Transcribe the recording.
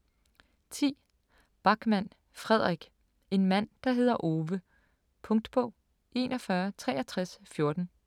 10. Backman, Fredrik: En mand der hedder Ove Punktbog 416314